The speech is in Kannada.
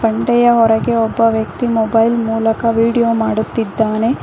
ಗುಂಡೆಯ ಹೊರಗೆ ಒಬ್ಬ ವ್ಯಕ್ತಿ ಮೊಬೈಲ್ ಮೂಲಕ ವಿಡಿಯೋ ಮಾಡುತ್ತಿದ್ದಾನೆ.